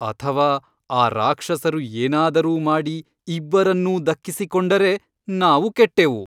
ಅಥವಾ ಆ ರಾಕ್ಷಸರು ಏನಾದರೂ ಮಾಡಿ ಇಬ್ಬರನ್ನೂ ದಕ್ಕಿಸಿಕೊಂಡರೆ ನಾವು ಕೆಟ್ಟೆವು.